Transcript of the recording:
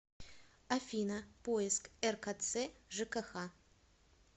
афина поиск ркц жкх